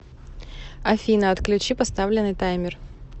афина отключи поставленный таймер